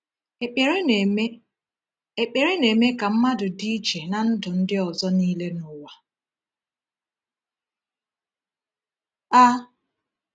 Ekpere na-eme Ekpere na-eme ka mmadụ dị iche na ndụ ndị ọzọ niile n’ụwa a.